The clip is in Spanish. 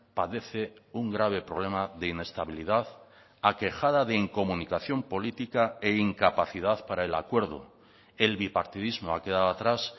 padece un grave problema de inestabilidad aquejada de incomunicación política e incapacidad para el acuerdo el bipartidismo ha quedado atrás